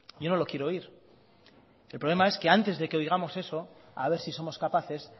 yo no lo quiero oír el problema es que antes de que oigamos eso a ver si somos capaces